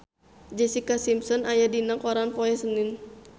Jessica Simpson aya dina koran poe Senen